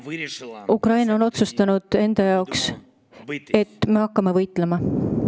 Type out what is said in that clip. Tol päeval otsustas Ukraina, et ta hakkab võitlema.